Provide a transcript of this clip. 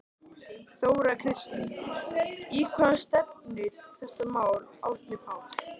Þóra Kristín: Í hvað stefnir þetta mál Árni Páll?